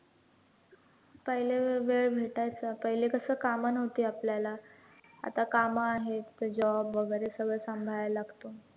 पहिले वेळ वेळ भेटायचा, पहिले कसं कामं नव्हती आपल्याला, आता कामं आहेत, तर job वैगरे सगळं सांभाळायला लागतं.